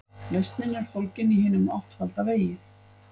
Lausnin er fólgin í hinum áttfalda vegi.